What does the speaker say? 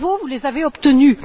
Bravo, vous les avez obtenus.